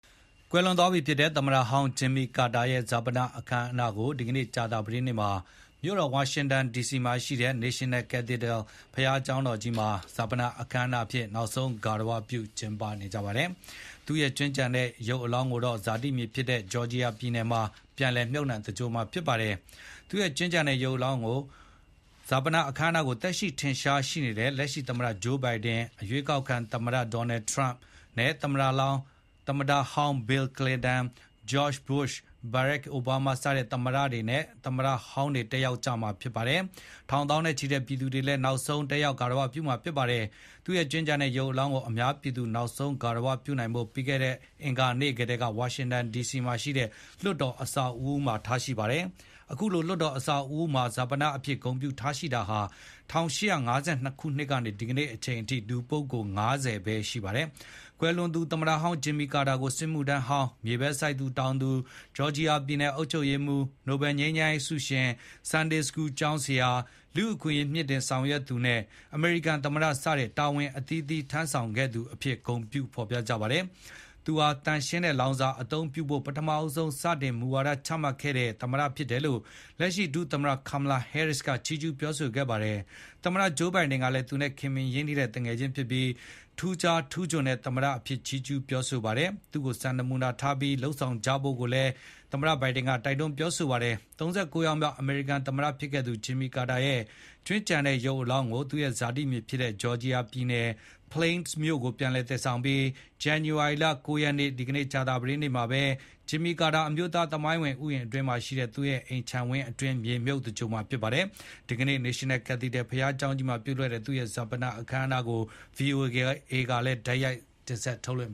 ကွယ်လွန်သွားပြီဖြစ်တဲ့ သမ္မတဟောင်း Jimmy Carter ရဲ့ ဈာပနအခမ်းအနားကို ဒီကနေ့ ကြာသပတေးနေ့မှာ မြို့တော်ဝါ ရှင်တန်ဒီစီမှာရှိတဲ့ National Cathedral ဘုရားကျောင်းကြီးမှာ နိုင်ငံတော်ဈာပနအဖြစ် နောက်ဆုံး ဂါရဝပြု ကျင်းပမှာဖြစ်ပါတယ်။ သူ့ရဲ့ ကြွင်းကျန်ရစ်တဲ့ ရုပ်ကလာပ်ကိုတော့ ဇာတိမြေဖြစ်တဲ့ Georgia ပြည်နယ်မှာ ပြန်လည် မြှုပ်နှံသင်္ဂြိုဟ်မှာ ဖြစ်ပါတယ်။ ဈာပနအခမ်းအနားကို သက်ရှိထင်ရှားရှိနေတဲ့လက်ရှိသမ္မတ Joe Biden ၊ အရွေးကောက်ခံသမ္မတ Donald Trump နဲ့သမ္မတဟောင်း Bill Clinton ၊ George Bush ၊ Barak Obama စတဲ့ သမ္မတနဲ့သမ္မတဟောင်းတွေ တက်ရောက်ကြမှာ ဖြစ်ပါတယ်။ ထောင် သောင်းနဲ့ချီတဲ့ ပြည်သူတွေလည်း နောက်ဆုံး လာရောက်ဂါရဝပြုကြပါတယ်။ သူ့ရဲ့ကြွင်းကျန်တဲ့ရုပ်ကလာပ်ကို အများပြည်သူနောက်ဆုံး ဂါရဝပြုနိုင်ဖို့ ပြီးခဲ့တဲ့အင်္ဂါနေ့ကတည်းက ဝါရှင်တန်ဒီစီမှာရှိတဲ့ လွှတ်တော်အဆောက်အဦးမှာ ထားရှိပါတယ်။ အခုလို လွှတ်တော် အဆောက်အဦးမှာ ဈာပနအဖြစ် ဂုဏ်ပြုထားရှိတာဟာ ၁၈၅၂ ခုနှစ်ကနေ အခုချိန်ထိ လူပုဂ္ဂိုလ် ၅၀ ပဲ ရှိပါတယ်။ ကွယ်လွန်သူ သမ္မတဟောင်း Jimmy Carter ကို စစ်မှုထမ်းဟောင်း၊ မြေပဲစိုက်တောင်သူ၊ Georgia ပြည်နယ်အုပ်ချုပ်ရေးမှူး၊ နိုဘယ်ငြိမ်းချမ်းရေးဆုရှင်၊ Sunday School ကျောင်းဆရာ၊ လူ့အခွင့်အရေးမြှင့်တင်ဆောင်ရွက်သူ နဲ့ အမေရိကန်သမ္မတ စတဲ့ တာဝန်အသီးသီးထမ်း ဆောင်ခဲ့သူအဖြစ် ဂုဏ်ပြု ဖေါ်ပြကြပါတယ်။ သူဟာ သန့်ရှင်းတဲ့လောင်စာအသုံးပြုဖို့ ပထမဆုံး စတင်မူဝါဒချမှတ်ခဲ့တဲ့ သမ္မတဖြစ်တယ်လို့ လက်ရှိ ဒုသမ္မတ Kamala Harris ကလည်း ချီးကျူးပြောဆိုခဲ့ပါတယ်။ သမ္မတ Joe Biden ကလည်း သူနဲ့ ခင်မင်ရင်းနှီးတဲ့မိတ်ဆွေဖြစ်ပြီး ထူးခြားထူးချွန်တဲ့သမ္မတအဖြစ် ချီးကျူးပြောဆိုခဲ့သလို သူ့ကို စံနမူနာထားပြီး လုပ်ဆောင်ကြဖို့ တိုက်တွန်းပြောဆိုခဲ့ပါတယ်။ ၃၉ ယောက်မြောက် အမေရိကန်သမ္မတဖြစ်ခဲ့သူ Jimmy Carter ရဲ့ ကြွင်းကျန်တဲ့ရုပ်ကလာပ်ကို သူရဲ့ဇာတိဖြစ်တဲ့ Georgia ပြည်နယ်၊ Plains မြို့ကို ပြန်လည်သယ်ဆောင်ပြီး ဇန္နဝါရီလ ၉ ရက်နေ့ ကြာသပတေးနေ့မှာပဲ Jimmy Carter အမျိုးသားသမိုင်းဝင် ဥယျာဉ်အတွင်းမှာရှိတဲ့ သူ့ရဲ့ အိမ်ခြံဝင်းအတွင်း မြေမြှုပ် သင်္ဂြိုဟ်မှာဖြစ်ပါတယ်။ ဒီကနေ့ National Cathedral ဘုရားကျောင်းကြီးမှာပြုလုပ်တဲ့ သူရဲ့ဈာပနအခမ်းအနားကို VOA ကလည်း တိုက်ရိုက် ထုတ်လွှင့်